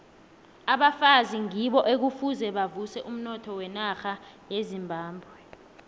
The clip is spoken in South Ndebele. abafazi ngibo ekufuze bavuse umnotho wenarha yezimbabwe